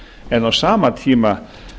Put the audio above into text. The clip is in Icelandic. en á sama tíma